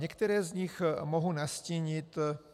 Některé z nich mohu nastínit.